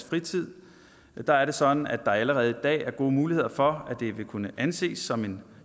fritid der er det sådan at der allerede i dag er gode muligheder for at det vil kunne anses som en